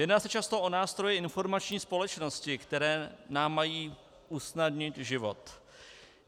Jedná se často o nástroje informační společnosti, které nám mají usnadnit život.